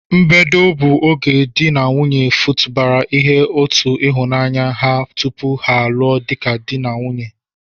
mbedo bụ oge di n'nwunye futabara ihe ụtọ n'ịhụnanya ha tupu ha lụọ dika di ka di n'nwunye.